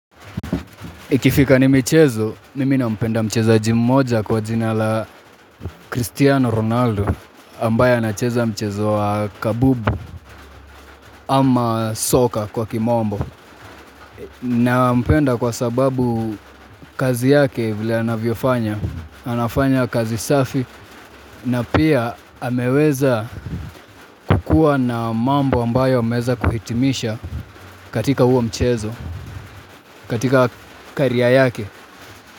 Ikifika ni michezo, mimi nampenda mchezaji mmoja kwa jina la ''Cristiano Ronaldo'' ambaye anacheza mchezo wa kambumbu ama soka kwa kimombo. Nampenda kwa sababu kazi yake vile anavyofanya, anafanya kazi safi na pia ameweza kuwa na mambo ambayo ameza kuhitimisha katika huo mchezo, katika ''career'' yake.